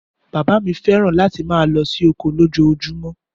Bàbá mi fẹ́ràn láti máa lọ sí oko lójoojúmọ́